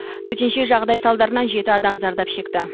төтенше жағдай салдарынан жеті адам зардап шекті